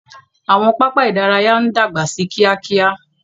Àwọn pápá idaraya no dagba sí kíákíá.